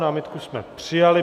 Námitku jsme přijali.